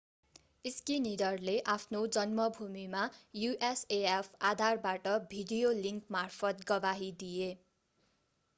schneiderले आफ्नो जन्मभूमिमा usaf आधारबाट भिडियो लिंकमार्फत गवाही दिए।